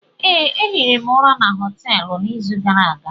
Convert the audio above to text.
Ee, ehiri m ụra na hostelụ n'izu gara aga.